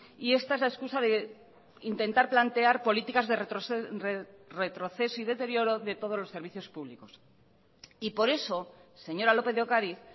y esta es la excusa de intentar plantear políticas de retroceso y deterioro de todos los servicios públicos y por eso señora lópez de ocariz